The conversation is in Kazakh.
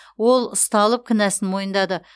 ол ұсталып кінәсін мойындады